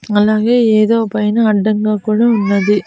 అలాగే ఏదో పైన అడ్డంగా కూడా ఉన్నది.